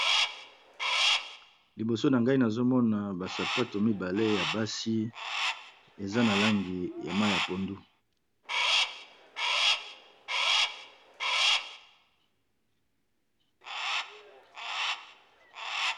Liboso na ngai nazo mona ba sapato mibale ya basi, eza na langi ya mayi ya pondu.